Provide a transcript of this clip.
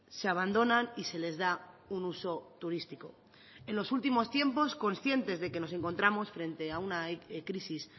se abandonan y se les da un uso turístico en los últimos tiempos conscientes de que nos encontramos frente a una crisis